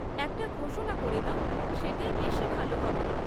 একটা ঘোষণা করে দাও, সেটাই বেশি ভালো হবে।